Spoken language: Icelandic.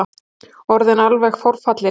Orðinn alveg forfallinn.